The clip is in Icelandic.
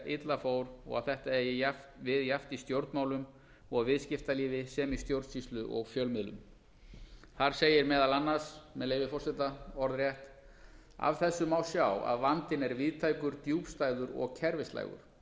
illa fór og að þetta eigi við jafnt í stjórnmálum og viðskiptalífi sem í stjórnsýslu og fjölmiðlum þar segir meðal annars með leyfi forseta orðrétt af þessu má sjá að vandinn er víðtækur djúpstæður og kerfislægur